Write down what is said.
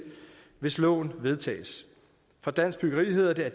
hvis loven vedtages fra dansk byggeri hedder det at